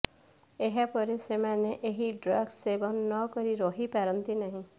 ଏହାପରେ ସେମାନେ ଏହି ଡ୍ରଗ୍ସ ସେବନ ନକରି ରହିପାରନ୍ତି ନାହିଁ